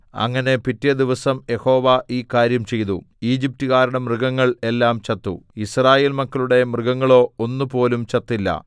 അങ്ങനെ പിറ്റേദിവസം യഹോവ ഈ കാര്യം ചെയ്തു ഈജിപ്റ്റുകാരുടെ മൃഗങ്ങൾ എല്ലാം ചത്തു യിസ്രായേൽ മക്കളുടെ മൃഗങ്ങളോ ഒന്നുപോലും ചത്തില്ല